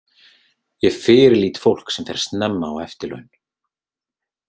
Ég fyrirlít fólk sem fer snemma á eftirlaun.